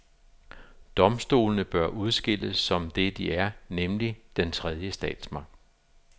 Domstolene bør udskilles, som det de er, nemlig den tredje statsmagt.